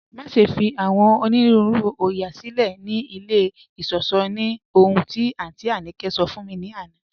Maṣẹ̀ fi awọn onírùúrù oóyà silẹ̀ ni ilẹ̀ ìṣọ̀ṣọ̀ ní ọ̀hun ti Aunty Abike sọ̀ fún mi lána